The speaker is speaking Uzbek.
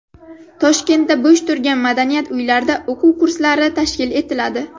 Toshkentda bo‘sh turgan madaniyat uylarida o‘quv kurslari tashkil etiladi.